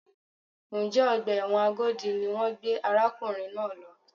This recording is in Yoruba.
Njẹ́ ọgbà ẹ̀wọ̀n Agodi ni wọ́n gbé arákùnrin náà lọ?